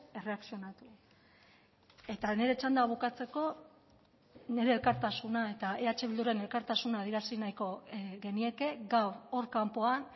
erreakzionatu eta nire txanda bukatzeko nire elkartasuna eta eh bilduren elkartasuna adierazi nahiko genieke gaur hor kanpoan